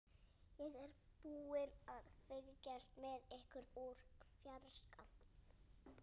Ég er búin að fylgjast með ykkur úr fjarska.